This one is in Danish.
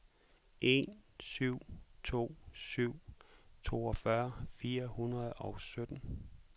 en syv to syv toogfyrre fire hundrede og sytten